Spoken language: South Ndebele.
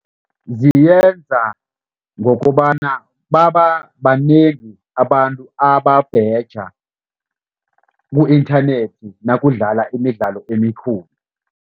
Ziyenza ngokobana bababanengi abantu ababheja ku-inthanethi nakudlalwa imidlalo emikhulu.